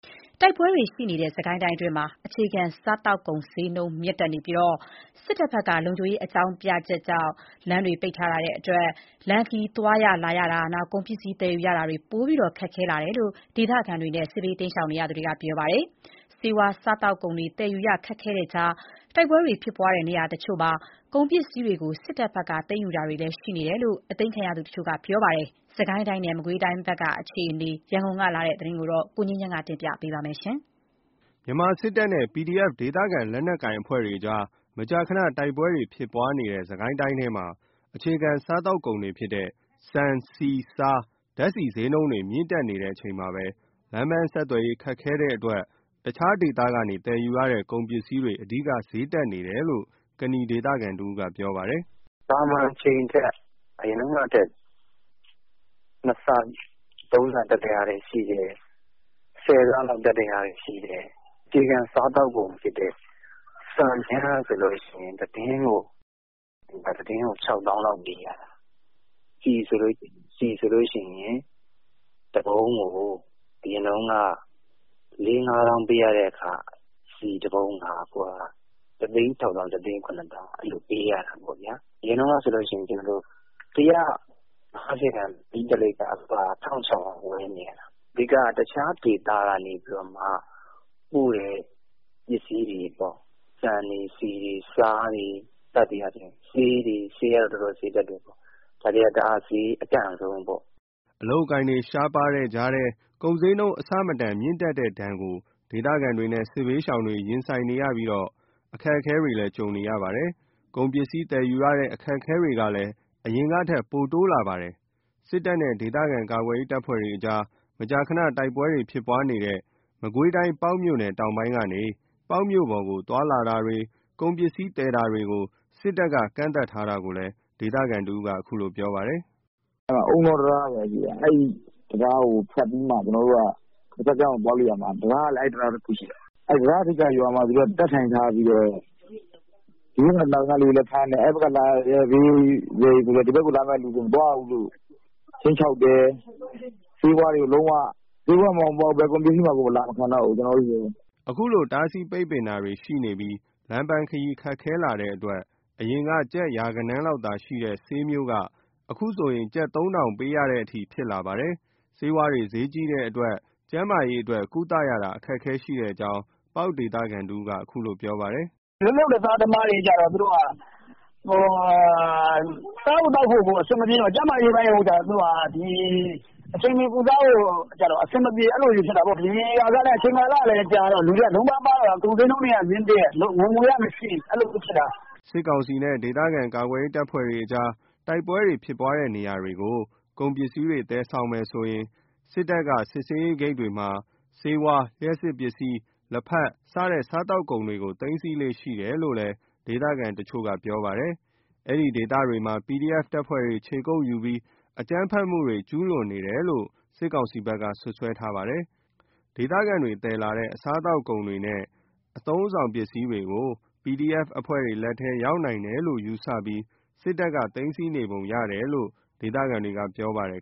တိုက်ပွဲတွေရှိနေတဲ့ စစ်ကိုင်းတိုင်းမှာ အခြေခံစားသောက်ကုန် ဈေးနှုန်းမြင့်တက်နေပြီး စစ်တပ်ဘက်က လုံခြုံရေးအကြောင်းပြ လမ်းတွေပိတ်ထားတာကြောင့် လမ်းခရီး သွားလာရတာ၊ ကုန်ပစ္စည်းသယ်ယူရတာတွေ ပိုပြီး ခက်ခဲလာတယ်လို့ ဒေသခံတွေနဲ့ စစ်ဘေးရှောင်တွေက ပြောပါတယ်။ ဆေးဝါး စားသောက်ကုန်တွေ သယ်ယူရခက်ခဲတဲ့ကြား တိုက်ပွဲဖြစ်ပွားတဲ့နေရာတချို့မှာ ကုန်ပစ္စည်းတွေကို စစ်တပ်ဘက်က သိမ်းယူတွေလည်း ရှိနေတယ်လို့ အသိမ်းခံရသူတချို့က ပြောပါတယ်။ စစ်ကိုင်းတိုင်းနဲ့ မကွေးတိုင်းအခြေအနေ ရန်ကုန်ကပေးပို့တဲ့သတင်းကို ကိုငြိမ်းချမ်းက တင်ပြပေးထားပါတယ်။ မြန်မာစစ်တပ်နဲ့ PDF ဒေသခံ လက်နက်ကိုင်အဖွဲ့တွကြား မကြာခဏ တိုက်ပွဲတွေ ဖြစ်ပွားနေတဲ့ စစ်ကိုင်းတိုင်းထဲမှာ အခြေခံစားသောက်ကုန်တွေဖြစ်တဲ့ ဆန်၊ ဆီ၊ ဆား၊ ဓာတ်ဆီဈေးနှုန်းတွေ မြင့်တက်နေတဲ့အချိန် လမ်းပန်းဆက်သွယ်ရေး ခက်ခဲတဲ့အတွက် အခြားဒေသကနေ သယ်ယူရတဲ့ကုန်ပစ္စည်းတွေ အဓိက ဈေးတက်နေတယ်လို့ ကနီဒေသခံတဦးက ပြောပါတယ်။ “သာမန်အချိန်ထက် အရင်တုန်းကထက် ၂ ဆ ၃ ဆ တက်တာတွေရှိတယ်။ ၁၀ ဆ လောက်တက်တာတွေရှိတယ်။ အခြေခံစားသောက်ကုန်ဖြစ်တဲ့ ဆန်ကြမ်းဆိုရင် ၁ တင်းကို ၆ သောင်းလောက်ပေးရတယ်။ ဆီဆိုရင် ၁ ပုံးကို ၄/၅ သောင်းပေးရတဲ့ဟာ အခု ၁ သိန်း ၆ သောင်း၊ ၁ သိန်း ၇ သောင်းလောက် ပေးရတာပေါ့ဗျာ။ အရင်ကဆိုရင် ၁၅၀ တန် ပတ်တီး ၁ လိပ်ကို (အခု) ၁,၆၀၀ ပေးပြီးဝယ်နေရတယ်။ အဓိက တခြားဒေသကနေ ပို့တဲ့ ပစ္စည်းတွေပေါ့။ ဆန်တွေ၊ ဆီတွေ၊ ဆားတွေ စသည်အားဖြင့် ဆေးတွေ... ဆေးကတော့ တော်တော်ဈေးတက်တယ်။ ဒါတွေက တအား ဈေးအတက်ဆုံးပေါ့။” အလုပ်အကိုင်တွေ ရှားပါးတဲ့ကြား ကုန်ဈေးနှုန်းတွေ အဆမတန်မြင့်တက်တဲ့ဒဏ် ကို ဒေသခံတွေနဲ့စစ်ဘေးရှောင်တွေ ရင်ဆိုင်ရပြီး အခက်အခဲကြုံရချိန်၊ ကုန်ပစ္စည်း သယ်ယူရတဲ့ အခက်အခဲတွေလည်း အရင်ကထက် ပိုတိုးလာပါတယ်။ စစ်တပ်နဲ့ ဒေသခံကာကွယ်ရေး တပ်ဖွဲ့တွေ မကြာခဏ တိုက်ပွဲဖြစ်ပွားတဲ့ မကွေးတိုင်း ပေါက်မြို့နယ်တောင်ပိုင်းကနေ ပေါက်မြို့ပေါ်ကို သွားလာတာတွေ၊ ကုန်ပစ္စည်းသယ် တာတွေကို စစ်တပ်က ကန့်သတ်ထားတာကိုလည်း ဒေသခံတဦးက ပြောပြပါတယ်။ “အုန်းတောတံတားပေါ့။ အဲ့တံတားကို ဖြတ်ပြီးမှ တဘက်ကို သွားလို့ရမှာ တံတားကလည်း အဲ့တံတား တခုတည်းရှိတာ။ အဲ့တံတားထိပ်က ရွာမှာ တပ်ထိုင်ထားပြီးတော့ ဒီဘက်က လာတဲ့သူတွေကိုလည်းဖမ်းတယ်။ အဲ့ဘက်(ပေါက်မြို့ပေါ်) ကနေ ဈေးလာရောင်းတာ ဒီဘက်ကို လာမယ့်သူတွေကို မသွားရဘူးလို့ ခြိမ်းခြောက်တယ်။ ဆေးဝါးတွေကို လုံးဝ... ဆေးဝါးမှ မဟုတ်ပါဘူး၊ ဘယ်ကုန်ပစ္စည်းမှ အလာကိုမခံတော့ဘူး၊ ကျနော်တို့ဆီကို။” အခုလိုတားဆီးပိတ်ပင်တာတွေရှိပြီး လမ်းခရီးခက်ခဲလာတဲ့အတွက် အရင်က ကျပ် ရာဂဏန်းလောက်သာရှိတဲ့ ဆေးမျိုးက အခုဆိုရင် ကျပ် ၃ ထောင် ပေးရတဲ့အထိ ဖြစ်လာပါတယ်။ ဆေးဝါးဈေးကြီးတဲ့အတွက် ကျန်းမာရေး ကုသရ အခက်အခဲရှိတဲ့အကြောင်း ပေါက်ဒေသခံ တဦးက ပြောပါတယ်။ “လက်လုပ်လက်စားသမားတွေကျတော့ စားဖို့သောက်ဖို့ကို အဆင်မပြေတော့ ကျန်းမာရေးပိုင်းကို အချိန်မှီကုစားဖို့ အဆင်မပြေ အဲ့လိုတွေဖြစ်တာပေါ့။ အချိန် ကာလကလည်းကြာလာတယ်။ လုံးပါးပါးနေကြတာ ကုန်ဈေးနှုန်းတွေကလည်း မြင့်တက်၊ ဝင်ငွေကမရှိ အဲ့လိုတွေဖြစ်နေတာ။” စစ်ကောင်စီနဲ့ဒေသခံကာကွယ်ရေးတပ်ဖွဲ့တွေ တိုက်ပွဲတွေဖြစ်ပွားတဲ့နေရာတွေကို ကုန်ပစ္စည်းတွေ သယ်ဆောင်မယ်ဆိုရင် စစ်တပ် စစ်ဆေးရေးဂိတ်တွေေဆေးဝါး၊ လျှပ်စစ်ပစ္စည်း၊ လက်ဖက် စတဲ့ စားသောက်ကုန်တွေကို သိမ်းဆည်းလေ့ရှိတယ် လို့လည်း ဒေသခံတချို့က ပြောပါတယ်။ ဒီဒေသတွေမှာ PDF တပ်ဖွဲ့တွေ ခြေကုပ်ယူပြီး အကြမ်းဖက်မှုတွေ ကျူးလွန်နေတယ်လို့ စစ်ကောင်စီဘက်က စွပ်စွဲထားပါတယ်။ ဒေသခံတွေသယ်လာတဲ့ စားသောက်ကုန်နဲ့ အသုံးအဆောင်တွေ PDF အဖွဲ့တွေလက်ထဲ ရောက်နိုင်တယ်လို့ ယူဆပြီး စစ်တပ်က သိမ်းဆည်းနေပုံရတယ်လို့ ဒေသခံတွေက ပြောပါတယ်